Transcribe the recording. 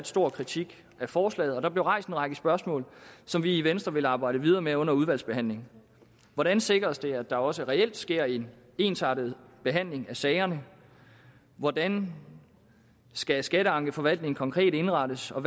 stor kritik af forslaget og der blev rejst en række spørgsmål som vi i venstre vil arbejde videre med under udvalgsbehandlingen hvordan sikres det at der også reelt sker en ensartet behandling af sagerne hvordan skal skatteankeforvaltningen konkret indrettes og